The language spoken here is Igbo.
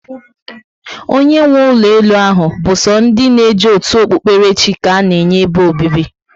Onye nwe ụlọ elu ahụ bu so ndị na eje otu Okpụkpere chị ka ana-enye ebe obibi